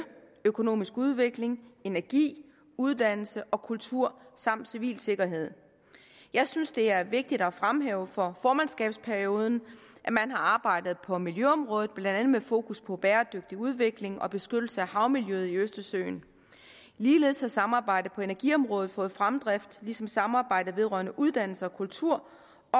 økonomisk udvikling energi uddannelse og kultur samt civil sikkerhed jeg synes det er vigtigt at fremhæve fra formandskabsperioden at man har arbejdet på miljøområdet blandt andet med fokus på en bæredygtig udvikling og beskyttelse af havmiljøet i østersøen ligeledes har samarbejdet på energiområdet fået fremdrift ligesom samarbejdet vedrørende uddannelse og kultur